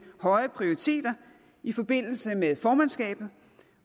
høje prioriteter i forbindelse med formandskabet